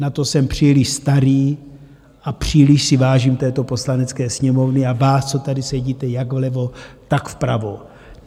Na to jsem příliš starý a příliš si vážím této Poslanecké sněmovny a vás, co tady sedíte, jak vlevo, tak vpravo.